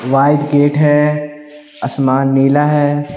White gate है आसमान नीला है।